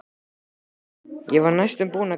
Já, ég var næstum búin að gleyma.